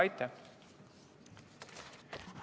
Aitäh!